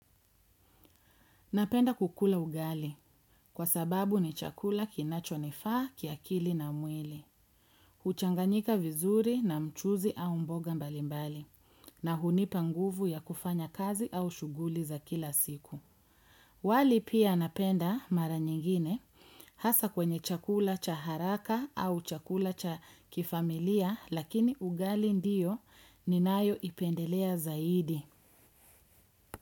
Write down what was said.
Napenda kukula ugali. Kwa sababu ni chakula kinacho nifaa, kiakili na mwili. Uchanganika vizuri, na mchuzi au mboga mbalimbali. Na hunipa nguvu ya kufanya kazi, au shughuli za kila siku. Wali pia, napenda, mara nyingine, hasa kwenye chakula cha haraka, au chakula cha kifamilia, lakini ugali ndiyo ninayo ipendelea zaidi.